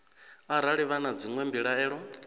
arali vha na dzinwe mbilaelo